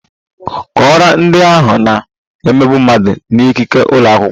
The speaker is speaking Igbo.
Kọọrọ ndị ahụ na - emegbu mmadụ n'ikike ụlọ akwụkwọ!